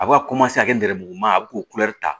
A bɛ ka ka nɛrɛmuguman a bɛ k'o ta